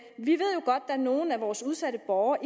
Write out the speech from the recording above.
der er nogle af vores udsatte borgere